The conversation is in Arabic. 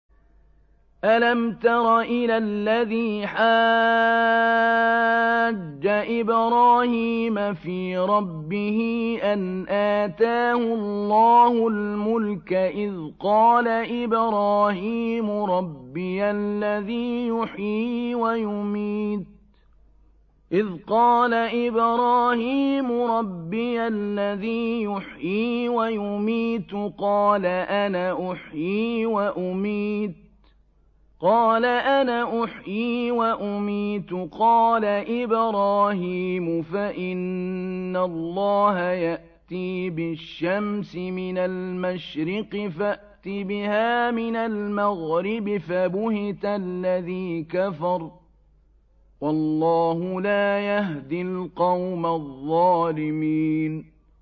أَلَمْ تَرَ إِلَى الَّذِي حَاجَّ إِبْرَاهِيمَ فِي رَبِّهِ أَنْ آتَاهُ اللَّهُ الْمُلْكَ إِذْ قَالَ إِبْرَاهِيمُ رَبِّيَ الَّذِي يُحْيِي وَيُمِيتُ قَالَ أَنَا أُحْيِي وَأُمِيتُ ۖ قَالَ إِبْرَاهِيمُ فَإِنَّ اللَّهَ يَأْتِي بِالشَّمْسِ مِنَ الْمَشْرِقِ فَأْتِ بِهَا مِنَ الْمَغْرِبِ فَبُهِتَ الَّذِي كَفَرَ ۗ وَاللَّهُ لَا يَهْدِي الْقَوْمَ الظَّالِمِينَ